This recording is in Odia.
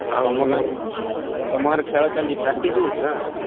ତମର ଗାଁରେ ଖେଳ ଚାଲିଛି practice ହଉଛି ନାଁ ?